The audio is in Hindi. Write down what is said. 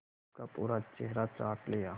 उसका पूरा चेहरा चाट लिया